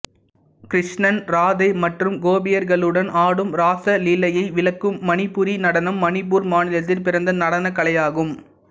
கிருஷ்ணன் ராதை மற்றும் கொபியர்களுடன் ஆடும் ராசலீலையை விளக்கும் மணிப்புரி நடனம் மணிப்பூர் மாநிலத்தில் பிறந்த நடனக் கலையாகும்